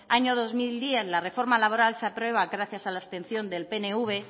año dos mil diez la reforma laboral se aprueba gracias a la abstención del pnv